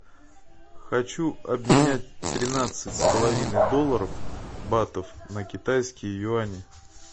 хочу обменять тринадцать с половиной долларов батов на китайские юани